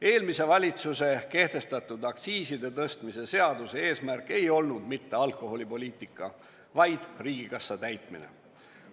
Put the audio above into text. Eelmise valitsuse kehtestatud aktsiiside tõstmise seaduse eesmärk ei olnud mitte alkoholipoliitika ajamine, vaid riigikassa täitmine.